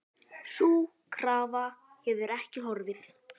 Sú krafa hefur ekki horfið.